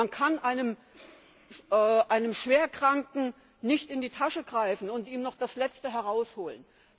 Man kann einem Schwerkranken nicht in die Tasche greifen und ihm noch das Letzte herausholen.